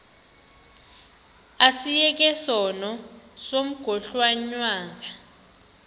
asiyeke sono smgohlwaywanga